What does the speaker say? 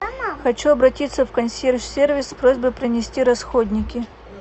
хочу обратиться в консьерж сервис с просьбой принести расходники